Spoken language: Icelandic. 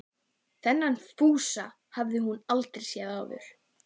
Þennan Fúsa hafði hún aldrei séð áður.